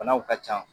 Banaw ka ca